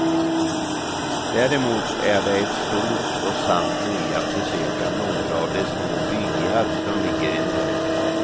Däremot är det ett stort och sant nöje att besöka några av de små byar som ligger i närheten.